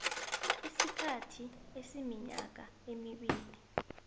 isikhathi esiminyaka emibili